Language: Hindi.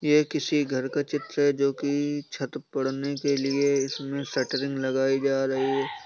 ये किसी घर का चित्र है। जो की छत पड़ने के लिए इसमे शटरिंग लगाई जा रही है।